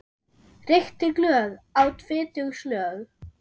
Reykti glöð, át fitug slög.